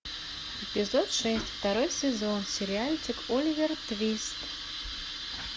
эпизод шесть второй сезон сериальчик оливер твист